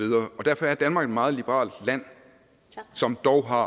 og derfor er danmark et meget liberalt land som dog har